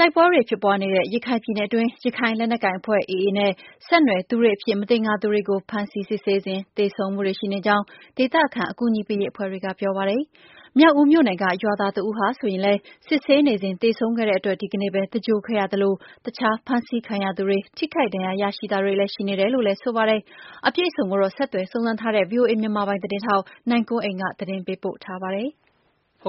တိုက်ပွဲတွေ ဖြစ်ပွားနေတဲ့ ရခိုင်ပြည်နယ်အတွင်း ရခိုင် လက်နက်ကိုင်အဖွဲ့ AA နဲ့ ဆယ်နွယ်သူတွေအဖြစ် မသင်္ကာသူတွေကို ဖမ်းဆီးစစ်ဆေးစဉ် သေဆုံးမှုတွေ ရှိနေကြောင်း ဒေသခံ အကူအညီပေးရေး အဖွဲ့တွေက ပြောပါတယ်။ မြောက်ဦးမြို့နယ်က ရွာသားတဦးဟာ ဆိုရင်လည်း စစ်ဆေးနေစဉ် သေဆုံးခဲ့တဲ့အတွက် ဒီကနေ့ပဲ သင်္ဂြိုဟ်ခဲ့ရသလို တခြား ဖမ်းဆီးခံရသူတွေ ထိခိုက်ဒဏ်ရာ ရရှိတာတွေလည်း ရှိနေတယ်လို့လည်း ဆိုပါတယ်။ အပြည့်အစုံကိုတော့ ဆက်သွယ်စုံစမ်းထားတဲ့ ဗွီအိုအေ မြန်မာပိုင်း သတင်းထောက် နိုင်ကွန်းအိန်ကနေ သတင်းပေးပို့ထားပါတယ်။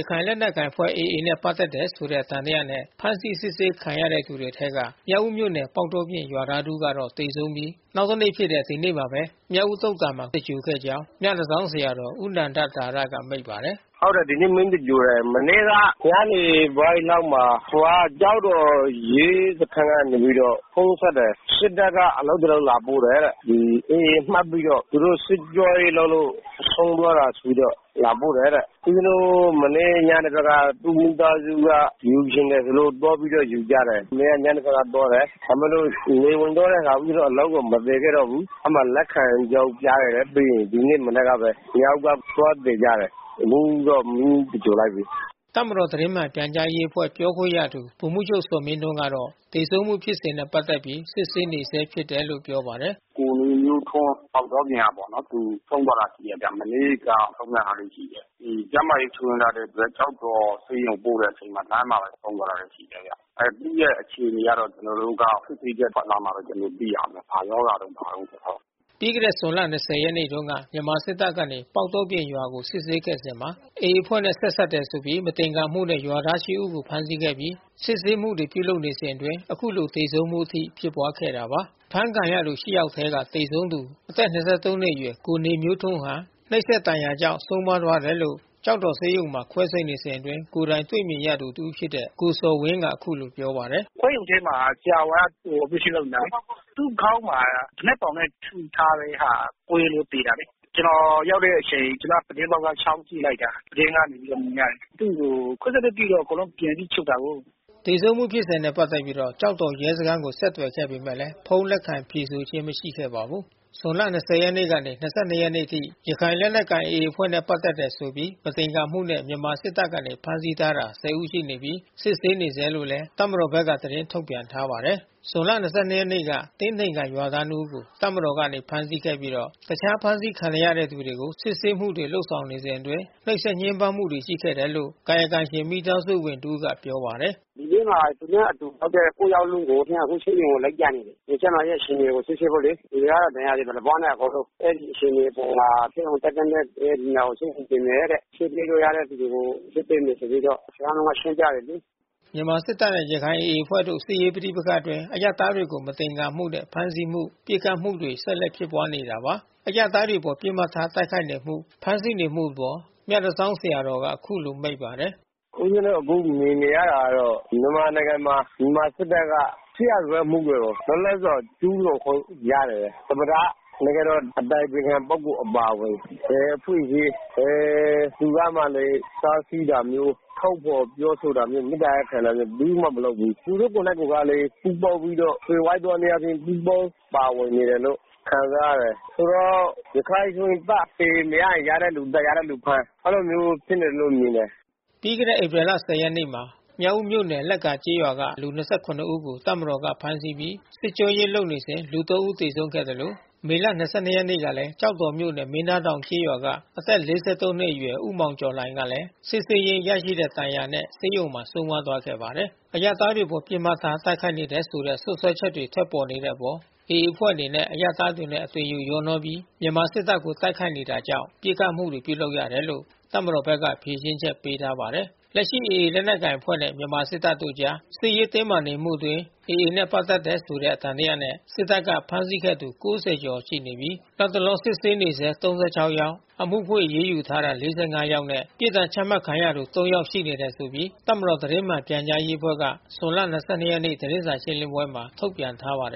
ရခိုင်လက်နက်ကိုင်အဖွဲ့ AA နဲ့ ပတ်သက်တယ်ဆိုတဲ့ သံသယနဲ့ ဖမ်းဆီး စစ်ဆေးခံနေရသူတွေထဲက မြောက်ဦးမြို့နယ် ပေါက်တောပြင် ရွာသားတဦးကတော့ သေဆုံးပြီး နောက်တနေ့ဖြစ်တဲ့ ဒီနေ့မှာပဲ မြောက်ဦးသုသာန်မှာ သင်္ဂြိုဟ်ခဲ့ကြောင်း မြတန်ဆောင်း ဆရာတော် ဦးနန္ဒသာရက မိန့်ပါတယ်။ “ဟုတ်တယ်။ ဒီနေ့ မီးသင်္ဂြိုဟ်တယ်။ မနေ့က ညနေပိုင်းလောက်မှာ ဟိုကကျောက်တော် ရဲစခန်းကနေ ဖုန်းဆက်တယ်။ စစ်တပ်က အလောင်းတလောင်း လာပို့တယ်တဲ့။ AA မှတ်ပြီးတော့ သူတို့စစ်ကြောရေးလုပ်လို့ ဆုံးသွားတယ်ဆိုပြီးတော့ လာပို့တယ်တဲ့။ ဦးဇင်းတို့ မနေ့ညနေဘက်က သူ့မိသားစုက ယူချင်တယ်ဆိုလို့ သွားပြီးတော့ ယူကြတယ်။ မနေ့ကညနေပိုင်းက သွားတယ်။ ဒါပေမဲ့လို့ နေဝင်သွားတဲ့အခါ ဦးဇင်းတို့အလောင်းကို မသယ်ခဲ့တော့ဘူး။ အဲဒီမှာလက်ခံကြောင်း ပြခဲ့တယ်။ ပြီးရင် ဒီနေ့မနက်ကပဲ မြောက်ဦးက သွားသယ်ကြတယ်။ အခုတော့ မီးသင်္ဂြိုဟ်လိုက်ပြီ။” တပ်မတော် သတင်းမှန်ပြန်ကြားရေးအဖွဲ့ ပြောခွင့်ရသူ ဗိုလ်မှူးချုပ် ဇော်မင်းထွန်းကတော့ သေဆုံးမှု ဖြစ်စဉ်နဲ့ ပတ်သက်လို့ စစ်ဆေးနေဆဲ ဖြစ်တယ်လို့ ပြောပါတယ်။ ပြီခဲ့တဲ့ဇွန်လ ၂၀ ရက်နေ့တုန်းက မြန်မာစစ်တပ်ကနေ ပေါက်တောပြင်ရွာမှာ စစ်ဆေးခဲ့စဉ်မှာ AA အဖွဲ့နဲ့ ဆက်စပ်တယ်ဆိုပြီး မသင်္ကာမှုနဲ့ ရွာသား ရှစ်ဦးကို ဖမ်းဆီးခဲ့ပြီး စစ်ဆေးမှုတွေ ပြုလုပ်နေစဉ်အတွင်း အခုလိုသေဆုံးမှုအထိ ဖြစ်ပွားခဲ့တာပါ။ အဖမ်းဆီးခံရသူ ရှစ်ယောက်အထဲက သေဆုံးသူအသက် ၂၃ နှစ်အရွယ် ကိုနေမျိုးထွန်းဟာ နှိပ်စက်ဒဏ်ရာကြောင့် ဆုံးပါးသွားတယ်လို့ ကျောက်တော်ဆေးရုံမှာ ခွဲစိပ်နေစဉ်အတွင်း ကိုယ်တိုင်တွေ့မြင်သူ တဦး ဖြစ်တဲ့ ကိုဇော်ဝင်းက အခုလို ပြောပါတယ်။ “ခွဲရုံထဲမှာ ဆရာဝန်က အော်ပရေးရှင်း လုပ်နေတယ်လေ။ သူ့ခေါင်းမှာ သေနတ်ဘောင် သေနတ်ဒင်နဲ့ ထိထားတဲ့ဟာ ကွဲလို့ သေတာလေ။ ကျနော် ရောက်တဲ့အချိန် ပြတင်းပေါက်က ချောင်းကြည့်လိုက်တာ ပြတင်းကနေ မြင်ရတယ်။ သူ့ကိုခွဲစိပ်ပြီးတော့ ပြန်ပြီး ချုပ်တာကိုး။” သေဆုံးမှုဖြစ်စဉ်နဲ့ ပတ်သက်ပြီး ကျောက်တော် ရဲစခန်းကို ဆက်သွယ်ခဲ့ပေမဲ့လည်း ဖုန်းလက်ခံဖြေဆိုခြင်း မရှိခဲ့ပါဘူး။ ဇွန်လ ၂၀ ရက်ကနေ၂၂ ရက်နေ့အထိ ရခိုင်လက်နက်ကိုင် AA အဖွဲ့နဲ့ ပတ်သက်တယ်ဆိုပြီး မသင်္ကာမှုနဲ့ မြန်မာစစ်တပ်ကနေ ဖမ်းဆီးထားတာ ဆယ်ဦး ရှိပြီး စစ်ဆေးနေဆဲလို့ တပ်မတော်ဘက်က သတင်း ထုတ်ပြန်ထားပါတယ်။ ဇွန်လ ၂၂ ရက်နေ့က တင်ထိန်ကန်ရွာသား နှစ်ဦးကို တပ်မတော်ကနေ ဖမ်းဆီးခဲ့ပြီး တခြားဖမ်းဆီးခံနေရသူတွေကို စစ်ဆေးမှုတွေ လုပ်ဆောင်စဉ်အတွင်း နှိပ်စက် ညှင်းပန်းမှုတွေ ရှိနေတယ်လို့ ကာယကံရှင် မိသားစုဝင် တဦးက ပြောပါတယ်။ “ဒီနေ့မှာ သူနဲ့အတူဖမ်းတဲ့ ကိုးယာက်လုံးကို အခုဆေးရုံကို လိုက်ပြနေတယ်။ ကျန်းမာရေးအခြေအနေကို စစ်ဆေးဖို့လေ။ လူကတော့ ဒဏ်ရာတွေ ဗလာပွနဲ့ပေါ့။ အဲဒီအခြေအနေအပေါ်မှာ ဆေးရုံတက်သင့်တဲ့ လူနာတွေကို ဆေးရုံတင်မယ်။ ဆေးပေးရမယ့် သူတွေကို ဆေးပေးမယ်ဆိုပြီးတော့ စခန်းမှူးက ရှင်းပြတယ်လေ။” မြန်မာ့စစ်တပ်နဲ့ ရခိုင် AA အဖွဲ့တို့ စစ်ရေးပဋိပက္ခအတွင်း အရပ်သားတွေကို မသင်္ကာမှုနဲ့ ဖမ်းဆီးမှု၊ ပစ်ခတ်နေမှုတွေ ဆက်လက် ဖြစ်ပွားနေတာပါ။ အရပ်သားတွေအပေါ် ပစ်မှတ်ထားတိုက်ခိုက် ပစ်ခတ်နေမှု ဖမ်းဆီးနေမှုအပေါ် မြတန်ဆောင်း ဆရာတော်ကအခုလို မိန့်ပါတယ်။ “ဦးဇင်းတို့ အခုမြင်နေရတာတော့ မြန်မာနိုင်ငံမှာ မြန်မာစစ်တပ်က စစ်ရာဇဝတ်မှုတွေကို လွတ်လပ်စွာ ကျူးလွန်ခွင့်ရတယ်။ သမ္မတ နိုင်ငံတော် အတိုင်ပင်ခံ ပုဂ္ဂိုလ်အပါအဝင် ဘယ်အခွင့်အရေး ဘယ်သူကမှ တားဆီးတာမျိုး ထုတ်ဖေါ်ပြောဆိုတာမျိုး မေတ္တာရပ်ခံတာမျိုး ဘယ်သူမှ မလုပ်ပေးဘူး။ သူတို့ ကိုယ်နှိုက်ကိုကလည်း ပူးပေါင်းပြီးတော့ သွယ်ဝိုက်သောနည်းအားဖြင့် ပူးပေါင်းပါဝင်နေတယ်လို့ ခံစားရတယ်။ ဆိုတော့ ရခိုင်ကို မြင်ရင် သတ် AA မရရင် ရတဲ့ လူသတ်။ ရတဲ့လူဖမ်း အဲဒီလိုမျိုး ဖြစ်နေတယ်လို့ မြင်တယ်။” ပြီးခဲ့တဲ့ ဧပြီလ ၁၀ ရက်နေ့မှာ မြောက်ဦးမြို့နယ် လက္ကာကျေးရွာက လူ ၂၇ ဦးကို တပ်မတော်က ဖမ်းဆီးပြီး စစ်ကြော ရေးလုပ်စဉ် လူ သုံးဦး သေဆုံးခဲ့သလို မေလ ၂၂ ရက်နေ့ကလည်း ကျောက်တော်မြို့နယ် မင်းသားတောင် ကျေးရွာက အသက် ၄၃ နှစ်အရွယ် ဦးမောင်ကျော်လှိုင်ဟာလည်း စစ်ဆေးရင်းရလာတဲ့ ဒဏ်ရာနဲ့ ဆေးရုံမှာ ဆုံးပါးသွားခဲ့ပါတယ်။ အရပ်သားတွေအပေါ် ပစ်မှတ်ထား တိုက်ခိုက်နေတယ်ဆို စွပ်စွဲချက်တွေ ထွက်ပေါ်နေတဲ့အပေါ် AA အဖွဲ့အနေနဲ့ အရပ်သားတွေနဲ့ အသွင်ယူ ရောနှော ပြီး မြန်မာစစ်တပ်ကို တိုက်ခိုက်နေတာကြောင့် ပစ်ခတ်မှုတွေ ပြုလုပ်ရတယ်လို့ တပ်မတော်ဘက်က ဖြေရှင်းချက်ပေးထားပါတယ်။ လက်ရှိ AA လက်နက်ကိုင်အဖွဲ့နဲ့ မြန်မာစစ်တပ်တို့အကြား စစ်ရေးတင်းမာနေမှုအတွင်း AA နဲ့ ပတ်သက်တယ်ဆိုတဲ့ သံသယနဲ့ စစ်တပ်က ဖမ်းဆီးခဲ့သူ ၉၀ ကျော် ရှိပြီး၊ လတ်တလော စစ်ဆေးနေဆဲ ၃၆ ယောက်၊ အမှုဖွင့် အရေးယူထားတာ ၄၅ ယောက်နဲ့ ပြစ်ဒဏ် ချမှတ်ခံရသူ သုံးယောက် ရှိနေတယ် ဆိုပြီး တပ်မတော် သတင်းမှန် ပြန်ကြားရေးအဖွဲ့က ဇွန်လ ၂၂ ရက်နေ့ သတင်းစာရှင်းလင်းပွဲမှာ ထုတ်ပြန်ထားပါတယ်